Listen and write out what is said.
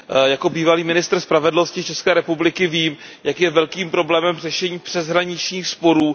Jako bývalý ministr spravedlnosti České republiky vím, jak je velkým problémem řešení přeshraničních sporů.